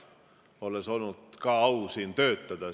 Ka mul on olnud au siin töötada.